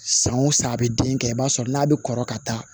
San o san a bɛ den kɛ i b'a sɔrɔ n'a bɛ kɔrɔ ka taa